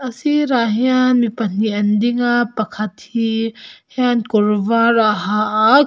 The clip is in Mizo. a sirah hian mi pahnih an ding a pakhat hi hian kawr var a ha a--